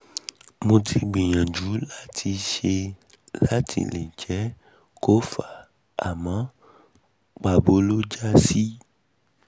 mo ti ń gbìyàjú láti ṣe láti ṣe láti lè jẹ́ kó fà àmọ́ pàbó ló já sí